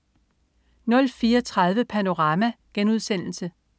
04.30 Panorama*